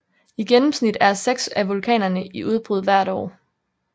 I gennemsnit er seks af vulkanerne i udbrud hvert år